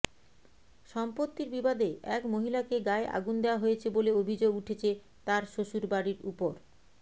সম্পত্তির বিবাদে এক মহিলাকে গায়ে আগুন দেওয়া হয়েছে বলে অভিযোগ উঠেছে তাঁর শ্বশুরবাড়ির ওপর